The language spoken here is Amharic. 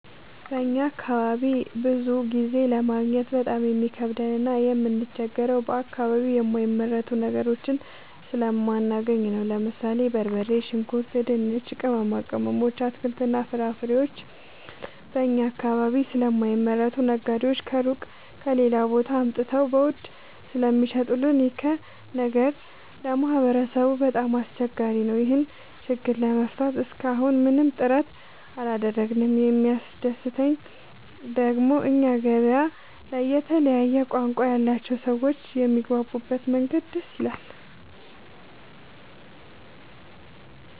በእኛ አካባቢ ብዙ ጊዜ ለማግኘት በጣም የሚከብደን እና የምንቸገረው በአከባቢው የማይመረቱ ነገሮችን ስለማናገኝ ነው። ለምሳሌ፦ በርበሬ፣ ሽንኩርት፣ ድንች፣ ቅመማ ቅመሞች፣ አትክልትና ፍራፍሬዎችን እኛ አካባቢ ስለማይመረቱ ነጋዴዎች ከሩቅ(ከሌላ ቦታ) አምጥተው በውድ ስለሚሸጡልን ይኸ ነገር ለማህበረሰቡ በጣም አስቸጋሪ ነው። ይህን ችግር ለመፍታት እሰከ አሁን ምንም ጥረት አላደረግንም። የሚያስደሰተኝ ደግሞ እኛ ገበያ ላይ የተለያየ ቋንቋ ያላቸው ሰዎች የሚግባቡበት መንገድ ደስ ይላል።